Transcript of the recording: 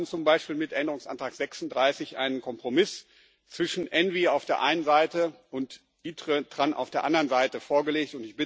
Wir haben zum Beispiel mit Änderungsantrag 36 einen Kompromiss zwischen ENVI auf der einen Seite und ITRE und TRAN auf der anderen Seite vorgelegt.